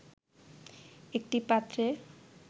একটি পাত্রে